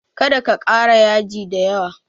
Kada ka ƙara yaji da yawa!